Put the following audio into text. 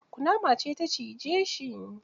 Kunama ce ta cije shi.